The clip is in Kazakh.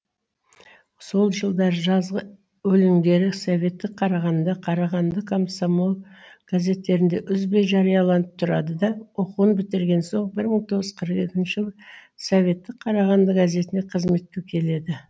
сол жылдары жазғы өлеңдері советтік қарағанды қарағанды комсомол газеттерінде үзбей жарияланып тұрады да оқуын бітірген соң бір мың тоғыз жүз қырық екінші жылы советтік қарағанды газетіне қызметке келеді